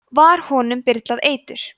var honum byrlað eitur